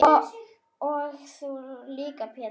Og þú líka Pétur.